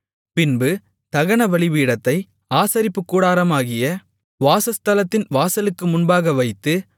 பின்பு தகன பலிபீடத்தை ஆசரிப்புக்கூடாரமாகிய வாசஸ்தலத்தின் வாசலுக்கு முன்பாக வைத்து